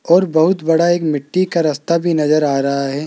और बहुत बड़ा एक मिट्टी का रास्ता भी नजर आ रहा है।